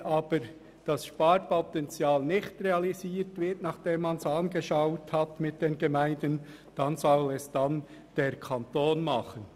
Wenn aber das Sparpotenzial nicht realisiert wird, nachdem man es mit den Gemeinden angeschaut hat, dann soll der Kanton diese Aufgaben übernehmen.